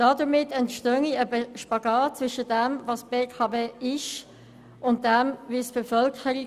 Dadurch entstehe eine Diskrepanz zwischen dem, was die BKW sei, und der Wahrnehmung der Bevölkerung.